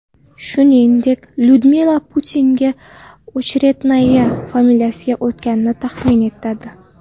Shuningdek, Lyudmila Putina Ocheretnaya familiyasiga o‘tganligi taxmin etiladi.